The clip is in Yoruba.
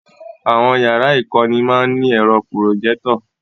Àwọn yàrá ìkọ́ni má ń ní ẹ̀rọ Pùròjẹ́tọ̀